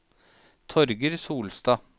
Torger Solstad